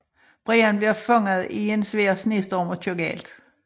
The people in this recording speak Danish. Brian bliver fanget i en svær snestorm og kører galt